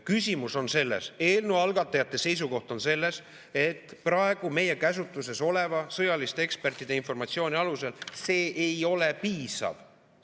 Küsimus on selles, eelnõu algatajate seisukoht on selles, et praegu meie käsutuses oleva sõjaliste ekspertide informatsiooni alusel see ei ole piisav.